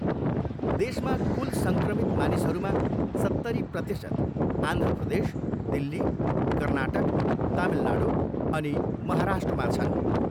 देशमा कुल सङ्क्रमित मानिसहरूमा सत्तरी प्रतिशत आन्ध्र प्रदेश, दिल्ली, कर्नाटक, तामिलनाडु अनि महाराष्ट्रमा छन्।